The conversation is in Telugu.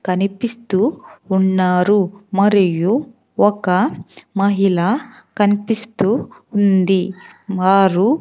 కనిపిస్తూ ఉన్నారు మరియు ఒక మహిళ కనిపిస్తూ ఉంది. వారు --